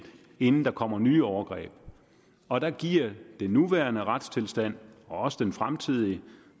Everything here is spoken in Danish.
inden der kommer nye overgreb og der giver den nuværende retstilstand og også den fremtidige